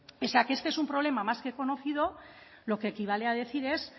pese a que este es un problema más que conocido lo que equivale a decir es